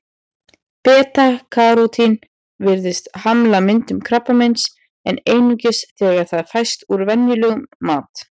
Beta-karótín virðist hamla myndun krabbameins, en einungis þegar það fæst úr venjulegum mat.